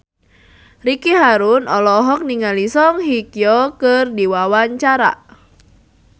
Ricky Harun olohok ningali Song Hye Kyo keur diwawancara